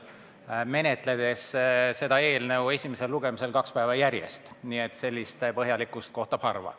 Eelnõu menetletakse esimesel lugemisel lausa kaks päeva järjest, sellist põhjalikkust kohtab harva.